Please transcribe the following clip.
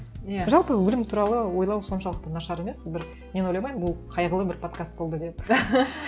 иә жалпы өлім туралы ойлау соншалықты нашар емес бір мен ойламаймын бұл қайғылы бір подкаст болды деп